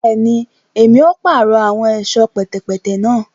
Bẹẹni, Èmí o parọ awọn ẹṣọ pẹtẹpẹtẹ náà